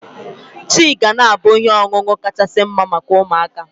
Tii ga na-abụ ihe ọṅụṅụ kachasị mma maka ụmụaka.